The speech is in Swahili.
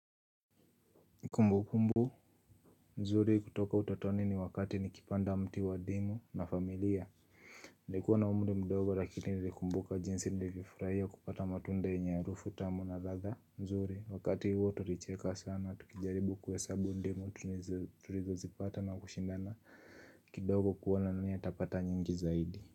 Kumbukumbu, nzuri kutoka utotoni ni wakati nikipanda mti wa ndimu na familia Nilikuwa na umri mdogo lakini nilikumbuka jinsi nilivyofurahia kupata matunda yenye harufu tamu na ladha nzuri, wakati huo tulicheka sana, tukijaribu kuhesabu ndimu, tulizozipata na kushindana kidogo kuona nani atapata nyingi zaidi.